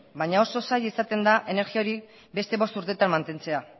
baina oso zaila izaten da energia hori beste bost urtetan mantentzea